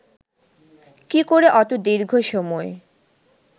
কী করে অত দীর্ঘ সময়